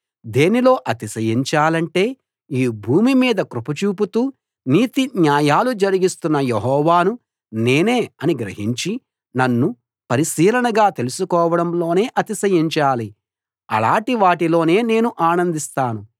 దేనిలో అతిశయించాలంటే ఈ భూమి మీద కృప చూపుతూ నీతి న్యాయాలు జరిగిస్తున్న యెహోవాను నేనే అని గ్రహించి నన్ను పరిశీలనగా తెలుసుకోవడంలోనే అతిశయించాలి అలాటి వాటిలోనే నేను ఆనందిస్తాను